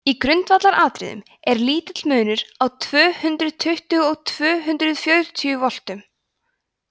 í grundvallaratriðum er lítill munur á tvö hundruð tuttugu og tvö hundruð fjörutíu voltum